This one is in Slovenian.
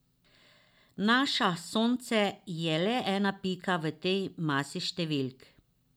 Naša Sonce je le ena pika v tej masi številk.